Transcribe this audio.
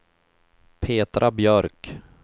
Petra Björk